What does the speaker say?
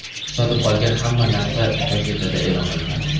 Sotib olgan hamma narsang gazetada e’lon qilinadi.